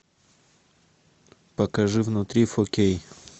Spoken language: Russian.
покажи внутри фо кей